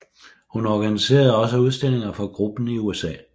Hun organiserede også udstillinger for gruppen i USA